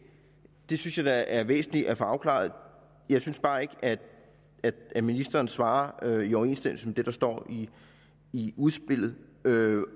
det synes jeg da er væsentligt at få afklaret jeg synes bare ikke at ministeren svarer i overensstemmelse med det der står i i udspillet